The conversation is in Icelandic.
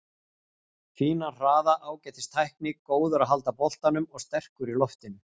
Fínan hraða, ágætis tækni, góður að halda boltanum og sterkur í loftinu.